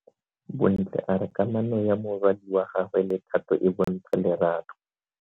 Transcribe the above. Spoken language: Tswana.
Bontle a re kamano ya morwadi wa gagwe le Thato e bontsha lerato.